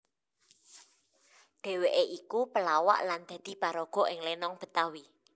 Dheweké iku pelawak lan dadi paraga ing lenong Betawi